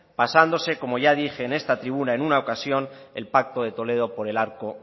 pasándose como ya dije en esta tribuna en una ocasión el pacto de toledo por el arco